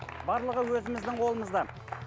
барлығы өзіміздің қолымызда